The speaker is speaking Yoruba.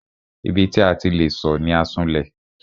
Ibi tí a ti le sọ̀ ni Asunlẹ̀.